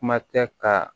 Kuma tɛ ka